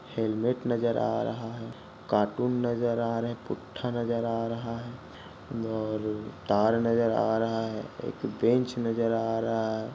Helmet नज़र आ रहा है। कार्टून नज़र आ रहे है। पूठा नज़र आ रहा है। और तार नज़र आ रहा है। एक बेंच नज़र आ रहा है।